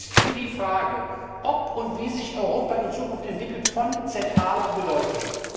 Er ist für die Frage, ob und wie sich Europa in Zukunft entwickelt von zentraler Bedeutung.